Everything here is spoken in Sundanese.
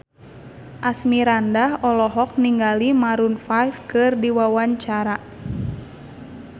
Asmirandah olohok ningali Maroon 5 keur diwawancara